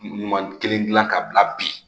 Ɲuman kelen dilan ka bila bi